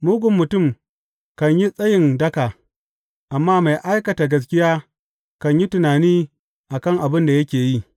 Mugun mutum kan yi tsayin daka, amma mai aikata gaskiya kan yi tunani a kan abin da yake yi.